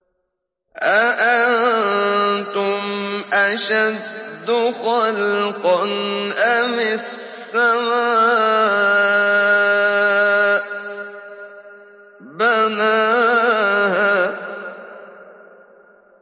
أَأَنتُمْ أَشَدُّ خَلْقًا أَمِ السَّمَاءُ ۚ بَنَاهَا